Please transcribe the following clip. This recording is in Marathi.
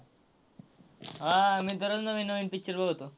आह मी तर रोज नवीन नवीन picture बघतो.